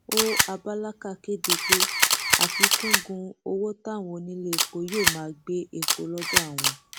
ó abálàkà kéde pé àfikún gun owó táwọn oníléepo yóò máa gbé epo lọdọ àwọn